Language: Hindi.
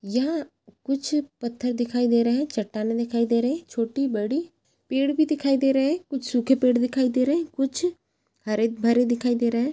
यहाँ कुछ पत्थर दिखाई दे रहे हैं चट्टाने दिखाई दे रही है छोटी बड़ी पेड़ भी दिखाई दे रहे है कुछ सूखे पेड़ दिखाई दे रहे है कुछ हरे भरे दिखाई दे रहे है।